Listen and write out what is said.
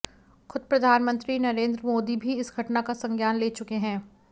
खुद प्रधानमंत्री नरेंद्र मोदी भी इस घटना का संज्ञान ले चुके हैं